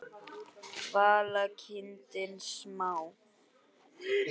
Vala: kindin smá.